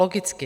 Logicky.